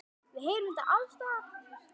Við heyrum þetta alls staðar.